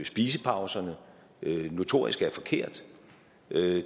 spisepauserne notorisk er forkert